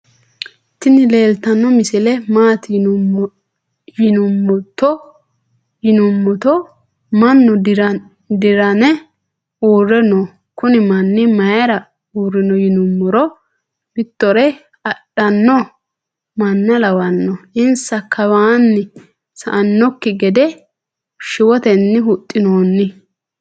tini leltano misile maati yinumoto maanu dirane uure noo. kuuni maani mayira urino yinumoro. mitore adhano maana lawano insa kawani sa"anoki geede shwoteni huxinoni.